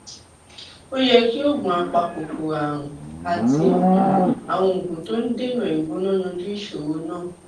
ó yẹ kí oògùn apakòkòrò ààrùn àti um àwọn oògùn tó ń dènà ìgbóná yanjú ìṣòro náà